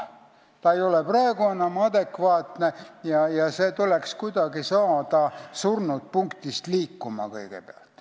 Olukord ei ole praegu enam adekvaatne ja kuidagi tuleks kõigepealt surnud punktist liikuma saada.